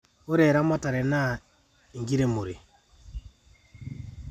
ore eramatare naa enkiremore